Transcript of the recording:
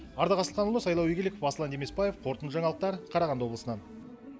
ардақ асылханұлы сайлау игіліков аслан демесбаев қорытынды жаңалықтар қарағанды облысынан